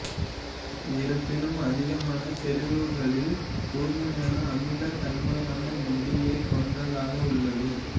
இருப்பினும் அதிகமான செறிவுகளில் கூர்மையான அமிலத் தன்மையான நெடியைக் கொண்டதாக உள்ளது